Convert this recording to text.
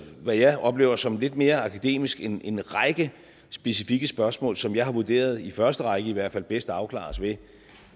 hvad jeg oplever som lidt mere akademisk en en række specifikke spørgsmål som jeg har vurderet i første række i hvert fald bedst afklares ved